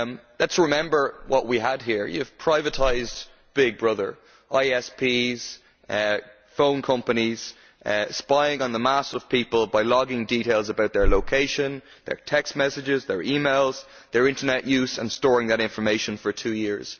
Let us remember what we had here you have privatised big brother ISPs, phone companies spying on the mass of people by logging details about their location, their text messages, their e mails, their Internet use and storing that information for two years.